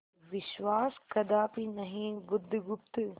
विश्वास कदापि नहीं बुधगुप्त